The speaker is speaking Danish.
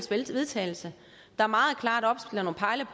til vedtagelse der meget klart opstiller